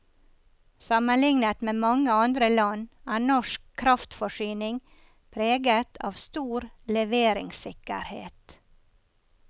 Sammenlignet med mange andre land er norsk kraftforsyning preget av stor leveringssikkerhet.